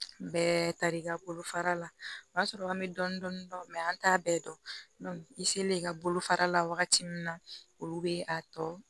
Bɛɛ tari ka bolofara la o y'a sɔrɔ an bɛ dɔni dɔni dɔn an t'a bɛɛ dɔn i selen i ka bolofara la wagati min na olu bɛ a tɔ